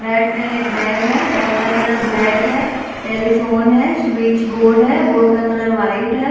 Bed पे एक bag है बैग का कलर ब्लैक है टेलीफोन है स्विच बोर्ड है बोर्ड का कलर व्हाइट है।